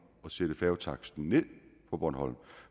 at sætte færgetaksten ned på bornholm